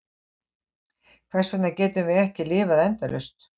Hvers vegna getum við ekki lifað endalaust?